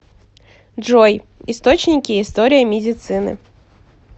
джой источники история медицины